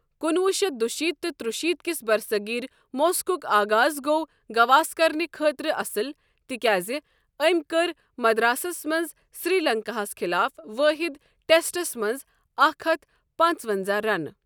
کُنوُہ شیتھ دُشیت تہِ تُرشیت کِس برصغیر موسقُک آغاز گۄٚو گواسکرنہِ خٲطرٕ اصل، تِکیٛازِ أمۍ کٔر مدراسس منٛز سری لنکاہَس خلاف وٲحِد ٹیسٹس منٛز اکھ ہتھ پانزونزَہ رنہٕ۔